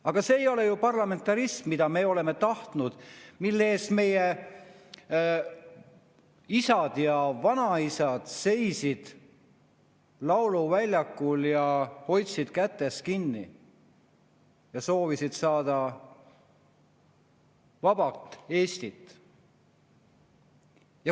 Aga see ei ole ju parlamentarism, mida me oleme tahtnud, mille eest meie isad ja vanaisad seisid lauluväljakul, hoidsid kätest kinni ja soovisid saada vaba Eestit.